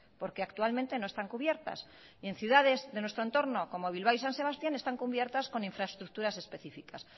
porque actualmente no están cubiertas y en ciudades de nuestro entorno como bilbao y san sebastián están cubiertas con infraestructuras específicas